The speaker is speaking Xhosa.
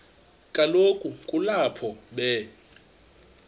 kaloku kulapho be